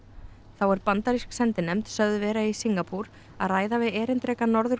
er bandarísk sendinefnd sögð vera í Singapúr að ræða við erindreka Norður